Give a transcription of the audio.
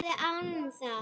Spila agað!